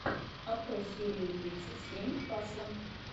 открой серию тридцать семь касла